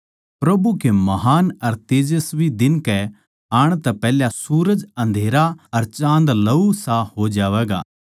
प्रभु के महान् अर तेजस्वी दिन कै आण तै पैहल्या सूरज अँधेरा अर चाँद लहूसा हो जावैगा